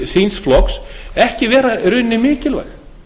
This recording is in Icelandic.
síns flokks ekki vera í rauninni mikilvæg